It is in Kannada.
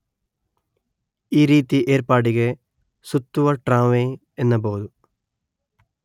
ಈ ರೀತಿ ಏರ್ಪಾಡಿಗೆ ಸುತ್ತುವ ಟ್ರಾಂವೇ ಎನ್ನಬಹುದು